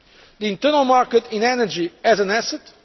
the internal market in energy as an